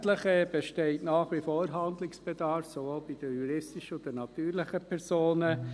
Selbstverständlich besteht nach wie vor Handlungsbedarf, sowohl bei den juristischen als auch bei den natürlichen Personen.